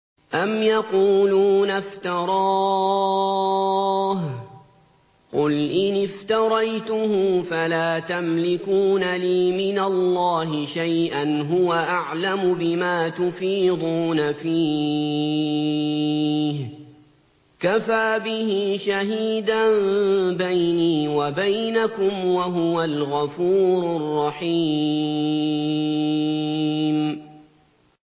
أَمْ يَقُولُونَ افْتَرَاهُ ۖ قُلْ إِنِ افْتَرَيْتُهُ فَلَا تَمْلِكُونَ لِي مِنَ اللَّهِ شَيْئًا ۖ هُوَ أَعْلَمُ بِمَا تُفِيضُونَ فِيهِ ۖ كَفَىٰ بِهِ شَهِيدًا بَيْنِي وَبَيْنَكُمْ ۖ وَهُوَ الْغَفُورُ الرَّحِيمُ